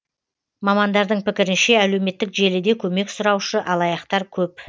мамандардың пікірінше әлеуметтік желіде көмек сұраушы алаяқтар көп